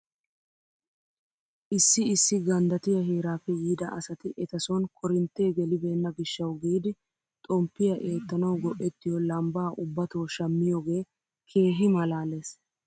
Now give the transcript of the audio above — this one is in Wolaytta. Issi issi ganddattiyaa heeraappe yiida asati eta son korinttee gelibeenna gishshaw giidi xomppiyaa eettanaw go'ettiyoo lambbaa ubbato shammiyoogee keehi malaales.